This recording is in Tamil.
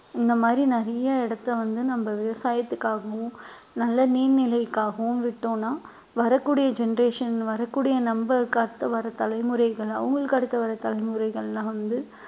இந்த மாதிரி நிறைய இடத்தை வந்து நம்ம விவசாயத்துக்காகவும் நல்ல நீர்நிலைக்காகவும் விட்டோம்ன்னா வரக்கூடிய generation வரக்கூடிய நம்மளுக்கு அடுத்து வர்ற தலைமுறைகள் அவங்களுக்கு அடுத்து வர்ற தலைமுறைகள்லாம் வந்து